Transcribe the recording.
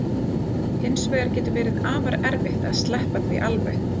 Hins vegar getur verið afar erfitt að sleppa því alveg.